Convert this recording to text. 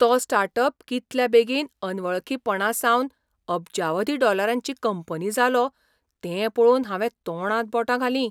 तो start up कितल्या बेगीन अनवळखीपणांसावन अब्जावधी डॉलरांची कंपनी जालो तें पळोवन हांवें तोंडांत बोटां घालीं.